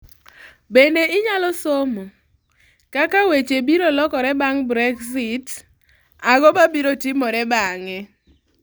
Bende inyalo somo : Kaka weche biro lokore bang' Brexit Ang'o mabiro timore bang'e?